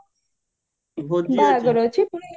ଭୋଜି ଅଛି overalp